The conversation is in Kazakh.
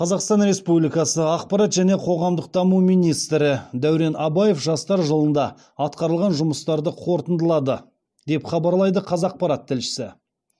қазақстан републикасы ақпарат және қоғамдық даму министрі дәурен абаев жастар жылында атқарылған жұмыстарды қорытындылады деп хабарлайды қазақпарат тілшісі